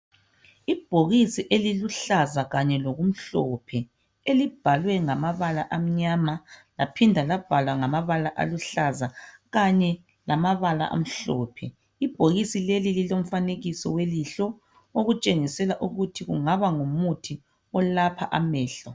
Ibhokisi eliluhlaza kanye lokumhlophe elibhalwe ngamabala amnyama laphinda labhalwa ngamabala aluhlaza kanye lamabala amhlophe , ibhokisi leli lilomfanekiso welihlo , okutshengisela ukuthi kungaba ngumuthi wamehlo